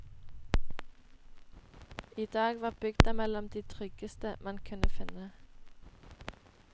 I dag var bygda mellom de tryggeste man kunne finne.